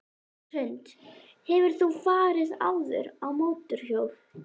Hrund: Hefur þú farið áður á mótorhjól?